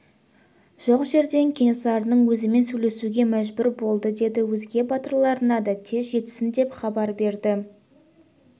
жоқ жерден кенесарының өзімен сөйлесуге мәжбүр болды деді өзге батырларына да тез жетсін деп хабар берді